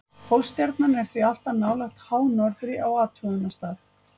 Pólstjarnan er því alltaf nálægt hánorðri á athugunarstað.